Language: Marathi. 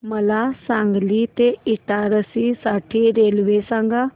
मला सांगली ते इटारसी साठी रेल्वे सांगा